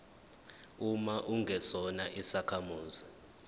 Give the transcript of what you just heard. uma ungesona isakhamuzi